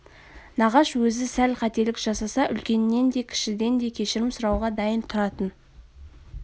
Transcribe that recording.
нағаш өзі сәл қателік жасаса үлкеннен де кішіден де кешірім сұрауға дайын тұратын